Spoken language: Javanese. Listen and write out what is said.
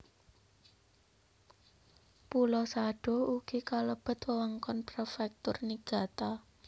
Pulo Sado ugi kalebet wewengkon Prefektur Niigata